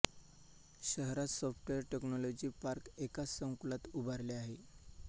शहरात software technology park एकाच संकुलात उभारले आहे